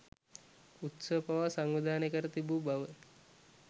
උත්සව පවා සංවිධානය කර තිබූ බව